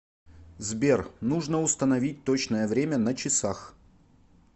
сбер нужно установить точное время на часах